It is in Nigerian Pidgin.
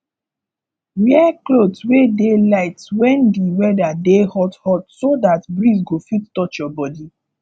wear cloth wey dey light when di weather dey hot hot so dat breeze go fit touch your body